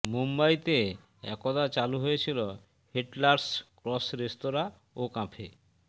মুম্বাইতে একদা চালু হয়েছিল হিটলারস ক্রস রেস্তোরাঁ ও ক্যাফে